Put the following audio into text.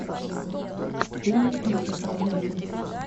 фильмы с музыкой найти